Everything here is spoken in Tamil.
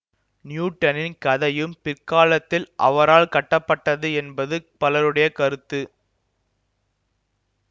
நியூட்டனின் கதையும் பிற்காலத்தில் அவரால் கட்டப்பட்டது என்பது பலருடைய கருத்து